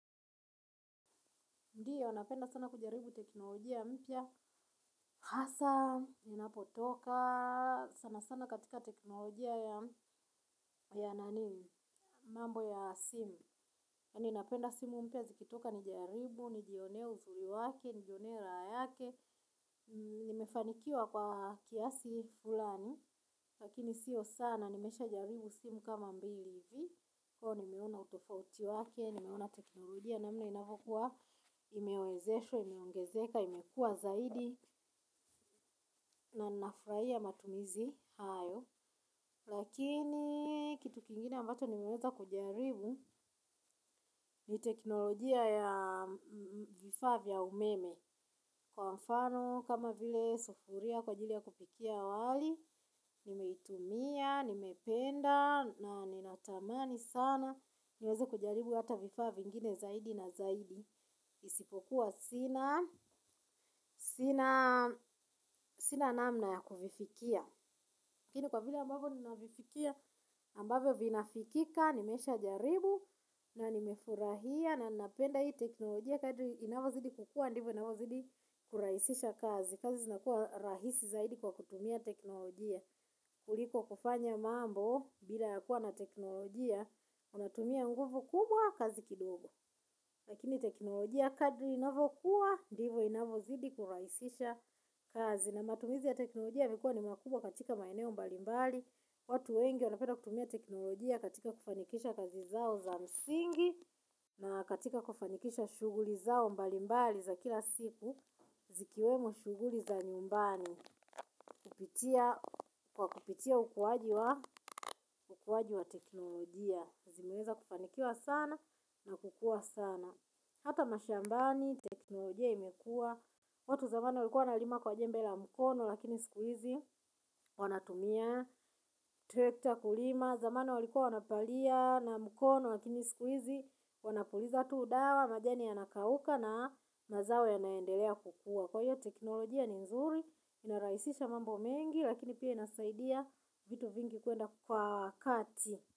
Ndio napenda sana kujaribu teknolojia ya mpya hasa, inapotoka sana sana katika teknolojia ya nani, mambo ya simu. Kwani napenda simu mpya zikitoka nijaribu, nijione uzuri wake nijionee raha yake, nimefanikiwa kwa kiasi fulani, lakini siyo sana, nimesha jaribu simu kama mbili hivi. Kwahiyo nimeona utofauti wake, nimeona teknolojia namna inavyokuwa imewezeshwa, imeongezeka, imekua zaidi na nafurahia matumizi hayo lakini kitu kingine ambacho nimeweza kujaribu ni teknolojia ya vifaa vya umeme kwa mfano kama vile sufuria kwa jili ya kupikia wali. Nimeitumia, nimependa na ninatamani sana niweze kujaribu hata vifaa vingine zaidi na zaidi. Isipokuwa sina sina namna ya kuvifikia lakini kwa vile ambavyo ninavifikia ambavyo vinafikika, nimesha jaribu na nimefurahia na napenda hii teknolojia kadri inavyozidi kukua inavyo zidi kurahisisha kazi kazi zinakuwa rahisi zaidi kwa kutumia teknolojia kuliko kufanya mambo bila yakuwa na teknolojia, unatumia nguvu kubwa kazi kidogo. Lakini teknolojia kadri inavyokuwa, ndivyo inavozidi kurahisisha kazi. Na matumizi ya teknolojia yamekuwa ni makubwa katika maeneo mbalimbali. Watu wengi, wanapeda kutumia teknolojia katika kufanikisha kazi zao za msingi, na katika kufanikisha shughuli zao mbalimbali za kila siku, zikiwemo shughuli za nyumbani. Kwa kupitia ukuaji wa teknolojia, zimeweza kufanikiwa sana na kukua sana hata mashambani, teknolojia imekua watu zamani walikua nalima kwa jembe la mkono lakini siku hizi wanatumia trekta kulima, zamani walikua wanapalia na mkono lakini sikuizi wanapuliza tu dawa majani ya nakauka na mazao ya naendelea kukua kwa hiyo teknolojia ni nzuri inarahisisha mambo mengi lakini pia inasaidia vitu vingi kuenda kwa wakati.